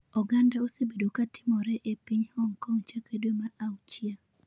Oganda osebedo ka timore e piny Hong Kong chakre dwe mar auchiel.